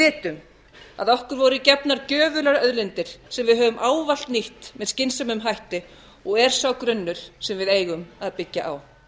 vitum að okkur voru gefnar gjöfular auðlindir sem við höfum ávallt nýtt með skynsömum hætti og er sá grunnur sem við eigum að byggja á